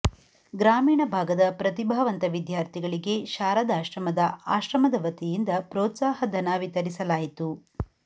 ಗ್ರಾಮೀಣ ಭಾಗದ ಪ್ರತಿಭಾವಂತ ವಿದ್ಯಾರ್ಥಿಗಳಿಗೆ ಶಾರದಾಶ್ರಮದ ಆಶ್ರಮದ ವತಿಯಿಂದ ಪ್ರೋತ್ಸಾಹಧನ ವಿತರಿಸಲಾಯಿತು